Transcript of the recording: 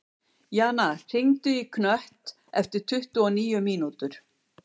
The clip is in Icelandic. Jana, hringdu í Knött eftir tuttugu og níu mínútur.